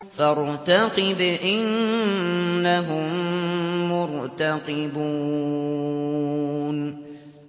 فَارْتَقِبْ إِنَّهُم مُّرْتَقِبُونَ